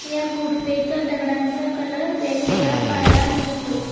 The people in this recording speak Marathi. या गुफेच्या दगडांचा कलर वेगवेगळा पहायला मिळतो.